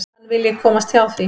Hann vilji komast hjá því.